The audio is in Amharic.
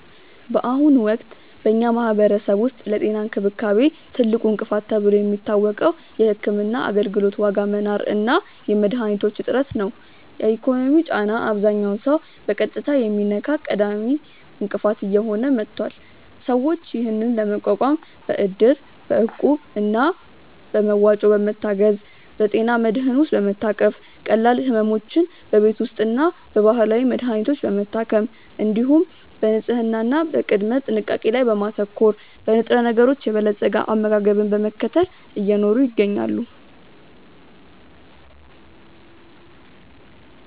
በአሁኑ ወቅት በኛ ማህበረሰብ ውስጥ ለጤና እንክብካቤ ትልቁ እንቅፋት ተብሎ የሚታወቀው የሕክምና አገልግሎት ዋጋ መናር እና የመድኃኒቶች እጥረት ነው። የኢኮኖሚው ጫና አብዛኛውን ሰው በቀጥታ የሚነካ ቀዳሚ እንቅፋት እየሆነ መጥቷል። ሰዎች ይህንን ለመቋቋም በእድር፣ እቁብ እና በመዋጮ በመታገዝ፣ በጤና መድህን ውስጥ በመታቀፍ፣ ቀላል ሕመሞችን በቤት ውስጥና በባህላዊ መድሀኒቶች በመታከም፣ እንዲሁም በንጽህና እና በቅድመ ጥንቃቄ ላይ በማተኮር፣ በንጥረነገሮች የበለፀገ አመጋገብን በመከተል እየኖሩ ይገኛሉ።